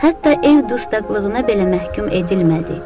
Hətta ev dustaqlığına belə məhkum edilmədi.